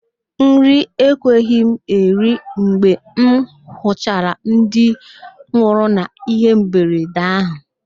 Nri ekweghị m eri mgbe m hụchara ndị nwụrụ n'ihe mberede ahụ